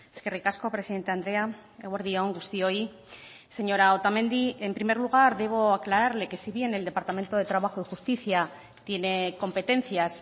eskerrik asko presidente andrea eguerdi on guztioi señora otamendi en primer lugar debo aclararle que si bien el departamento de trabajo y justicia tiene competencias